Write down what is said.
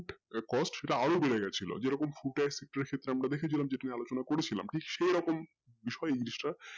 cost সেটা আরো বেড়ে গেছিলো যেরকম footer টা আমরা দেখছিলাম যেহেতু আলোচনা করেছিলাম ঠিক সেই রকম বিষয়টা